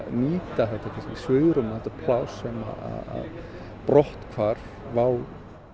nýta þetta kannski svigrúm og þetta pláss sem að brotthvarf WOW